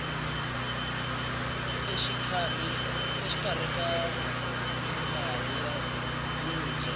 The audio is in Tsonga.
exikarhi ka minkarhi yo dya